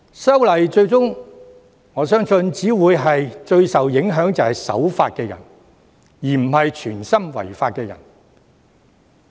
因此，我相信修訂《條例》最終只會影響守法的人，而非有心違法的人。